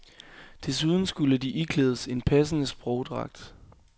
Desuden skulle de iklædes en passende sprogdragt.